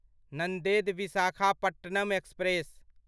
Nanded Visakhapatnam express